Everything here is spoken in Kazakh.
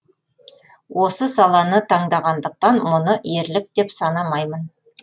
осы саланы таңдағандықтан мұны ерлік деп санамаймын